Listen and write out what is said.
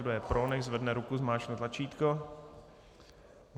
Kdo je pro, nechť zvedne ruku, zmáčkne tlačítko.